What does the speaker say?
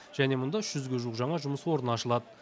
және мұнда үш жүзге жуық жаңа жұмыс орны ашылады